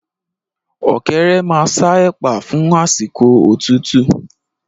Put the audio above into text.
Ọ̀kẹ́rẹ́ maa ṣa ẹ̀pà fún àsìkò òtútú